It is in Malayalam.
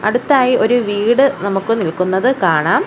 അടുത്തായി ഒരു വീട് നമുക്ക് നിൽക്കുന്നത് കാണാം.